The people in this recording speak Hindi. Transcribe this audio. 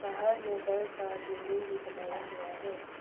बाहर में घर का बिल्डिंग भी बनाया हुआ है।